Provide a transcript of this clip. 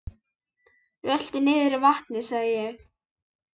Rölti niður að vatni sagði ég.